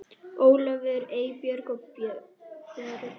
Ólafur, Eybjörg og börn.